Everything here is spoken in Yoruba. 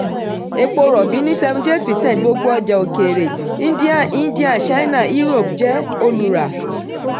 epo rọ̀bì ni seventy eight percent gbogbo ọjà òkèèrè india india china europe jẹ́ olùrà.